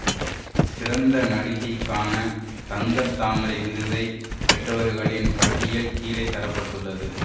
சிறந்த நடிகைக்கான தங்கத் தாமரை விருதை பெற்றவர்களின் பட்டியல் கீழே தர பட்டுள்ளது